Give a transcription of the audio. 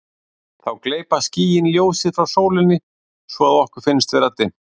Þá gleypa skýin ljósið frá sólinni svo að okkur finnst vera dimmt.